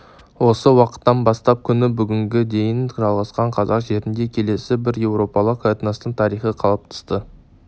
осы уақыттан бастап күні бүгінге дейін жалғасқан қазақ жерінде келесі бір еуропалық этностың тарихы қалыптасты